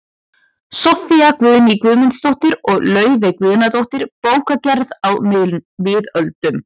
Soffía Guðný Guðmundsdóttir og Laufey Guðnadóttir, Bókagerð á miðöldum